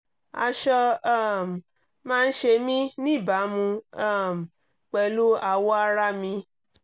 aṣọ um máa ń ṣe mí níbàámu um pẹ̀lú awọ ara mi